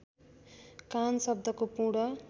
कान शब्दको पूर्ण